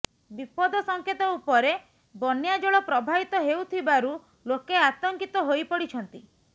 ବିପଦ ସଙ୍କେତ ଉପରେ ବନ୍ୟାଜଳ ପ୍ରବାହିତ ହେଉଥିବାରୁ ଲୋକେ ଆତଙ୍କିତ ହୋଇପଡିଛନ୍ତି